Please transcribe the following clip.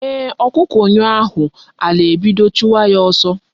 Eeh, okuku nyuo ahu, ala ebido chuwa ya oso